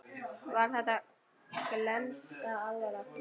Var þetta glens eða alvara?